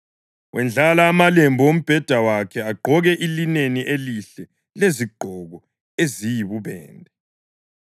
Wendlala amalembu ombheda wakhe; agqoke ilineni elihle lezigqoko eziyibubende.